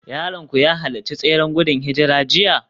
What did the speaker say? Yaronku ya halarci tseren gudun hijira jiya?